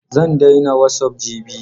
Zan daina wasup jibi.